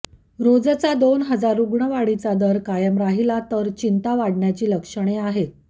रोजचा दोन हजार रुग्णवाढीचा दर कायम राहिला तर चिंता वाढण्याची लक्षणे आहेत